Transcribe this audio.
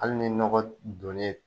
Hali ni nɔgɔ dɔn ne